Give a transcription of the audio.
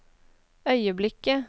øyeblikket